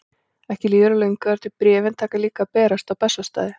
Ekki líður á löngu þar til bréfin taka líka að berast á Bessastaði.